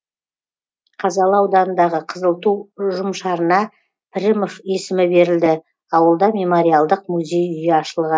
қазалы ауданындағы қызыл ту ұжымшарына пірімов есімі берілді ауылда мемориалдық музей үйі ашылған